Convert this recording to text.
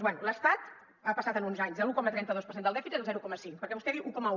bé l’estat ha passat en uns anys de l’un coma trenta dos per cent del dèficit al zero coma cinc perquè vostè diu un coma un